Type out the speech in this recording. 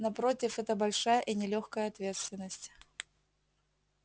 напротив это большая и нелёгкая ответственность